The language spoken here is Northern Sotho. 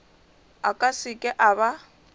a ka seke a ba